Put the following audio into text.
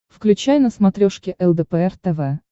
включай на смотрешке лдпр тв